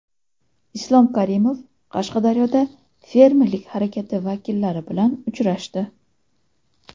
Islom Karimov Qashqadaryoda fermerlik harakati vakillari bilan uchrashdi.